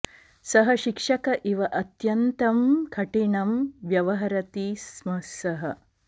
सः शिक्षक इव अत्यन्तं कठिनं व्यवहरति स्म सः